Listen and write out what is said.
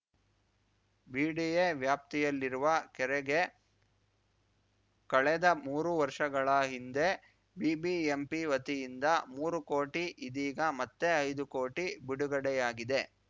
BDA ವ್ಯಾಪ್ತಿಯಲ್ಲಿರುವ ಕೆರೆಗೆ ಕಳೆದ ಮೂರು ವರ್ಷಗಳ ಹಿಂದೆ ಬಿಬಿಎಂಪಿ ವತಿಯಿಂದ ಮೂರು ಕೋಟಿ ಇದೀಗ ಮತ್ತೆ ಐದು ಕೋಟಿ ಬಿಡುಗಡೆಯಾಗಿದೆ